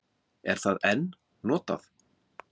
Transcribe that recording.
Er það enn notað?